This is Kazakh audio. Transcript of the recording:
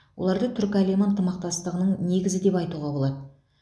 оларды түркі әлемі ынтымақтастығының негізі деп айтуға болады